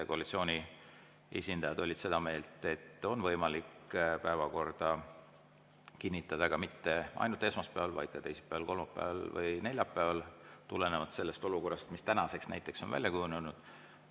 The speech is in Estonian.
Koalitsiooni esindajad olid seda meelt, et on võimalik päevakorda kinnitada mitte ainult esmaspäeval, vaid ka teisipäeval, kolmapäeval või neljapäeval, tulenevalt sellest olukorrast, mis näiteks tänaseks on välja kujunenud.